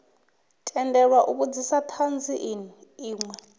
tendelwa u vhudzisa thanzi inwe